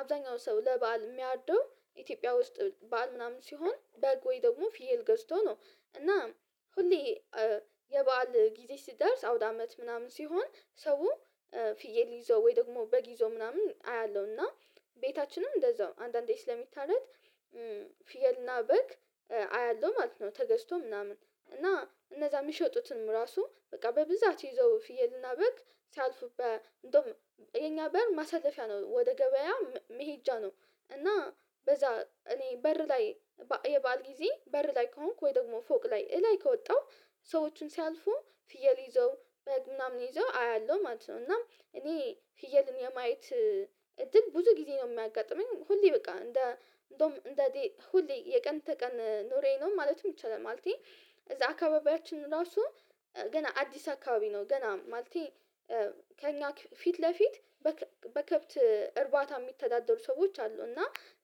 አብዛኛው ሰው ለበአል የሚያርድው ኢትዮጵያ ውስጥ ባል ምናምን ሲሆን በግ ወይ ደግሞ ፍየል ገዝቶ ነው። እና ሁሌ የበአል ጊዜ ሲደርስ አውድ አመት ምናምን ሲሆን ሰው ፍየል ይዞ ወይ ደግሞ በግ ይዞ ምናምን አያለሁ እና ቤታችንም እንደዛው አንዳንዴ ስለሚታረድ ፊየልና በግ አያለሁ ማለት ነው። ተገዝቶ ምናምን እና እነዛ የሚሸጡትንም ራሱ በቃ በብዛት ይዞ ፍየልና በል ሲያልፉበት እንደውም የኛ በር ማሳለፊያ ነው ወደ ገበያ መሄጃ ነው። እና በዛ እኔ በር ላይ የባዓል ጊዜ በር ላይ ከሆንኩ ወይ ደግሞ ፎቅ ላይ ላይ ከወጣሁ ሰዎችን ሲያልፉ ፍየል ይዘው ምናምን ይዘው አያለሁ ማለት ነው እና እኔ ፍየልን የማየት እድል ብዙ ጊዜ ነው የሚያጋጥመኝ። ሁሌ በቃ እንደ አንድ አንደዬ ሁሌ የቀን ተቀን ኖሬየ ነው ማለትም ይቻላል ማለቴ እዛ አካባቢያችን ራሱ ገና አዲስ አካባቢ ነው ገና ማለቴ ከእኛ ፊት ለፊት በከብት እርባታ የሚተዳደሩ ሰዎች አሉ። እና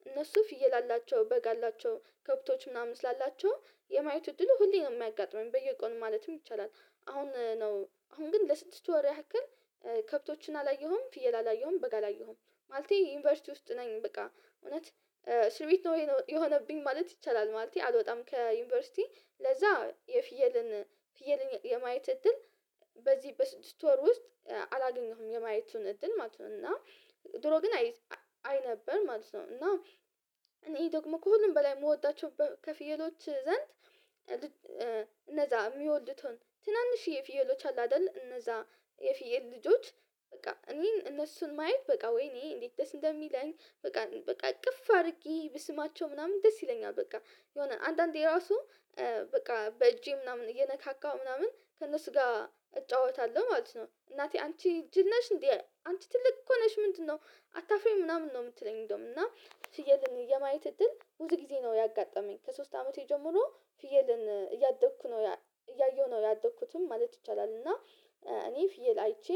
እነሱ ፍየል አላቸው በግ አላቸው ከብቶች ምናምን ስላላቸው የማየቱ እድሉ ሁሌም ነው የማያጋጥመኝ በየቀኑ ማለትም ይቻላል። አሁን ነው አሁን ግን ለስድስት ወር ያክል ከብቶችን አላየሁም ፍየል አላየሁም በግ አላየሁም። ማለቴ ዩኒቨርሲቲ ውስጥ ነኝ በቃ እውነት ስርቤት ነው የሆነብኝ ማለት ይቻላል። ማለቴ አልወጣም ከዩኒቨርሲቲ ለዛ የፍየልን ፍየልን የማየት እድል በዚህ በስድስት ወር ውስጥ አላገኘሁም የማየቱን እድል ማለት ነው። እና ድሮ ግን አይ አይ ነበር ማለት ነው። እና እኔ ደግሞ ከሁሉም በላይ የምወዳቸው ከፍየሎች ዘንድ ነፃ የሚወልድ የሚወልዱትን ትናንሽ የፊየሎች አለ አይደል እነዛ የፊየር ልጆች በቃ እኔን እነሱን ማየት በቃ ወይኔ እንዴት ደስ እንደሚለኝ በቃ በቃ እቅፍ አድርጊ ብስማቸው ምናምን ደስ ይለኛል። በቃ የሆነ አንዳንዴ ራሱ በቃ በእጄ ምናምን እየነካካሁ ምናምን ከእነሱ ጋር እጫወታለሁ ማለት ነው። እናቴ አንቺ ጅል ነሽ እንዴ? አንቺ ትልቅ እኮ ነሽ ምንድነው? አታፍሬም ምናምን ነው የምትለኝ እንደውም እና ሽዬልኝ የማየት እድል ውስጥ ጊዜ ነው ያጋጠመኝ። ከሶስት አመቴ ጀምሮ ፍየልን እያደግኩ ነው እያየሁ ነው ያደግኩትም ማለት ይቻላል። እና እኔ ፍየል አይቼ